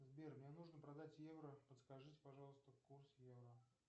сбер мне нужно продать евро подскажите пожалуйста курс евро